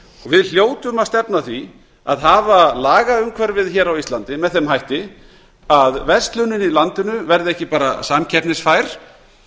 við hljótum að stefna að því að hafa lagaumhverfið hér á íslandi með þeim hætti að verslunin í landinu verði ekki bara samkeppnisfær